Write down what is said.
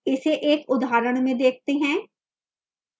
इसे एक उदाहरण में देखते हैं